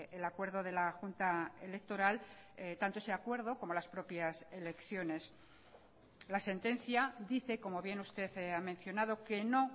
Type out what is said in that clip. el acuerdo de la junta electoral tanto ese acuerdo como las propias elecciones la sentencia dice como bien usted ha mencionado que no